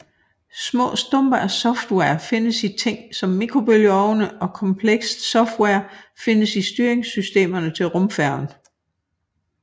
Små stumper af software findes i ting som mikrobølgeovne og komplekst software findes i styringssystemerne til rumfærgen